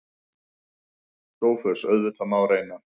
SOPHUS: Auðvitað má reyna.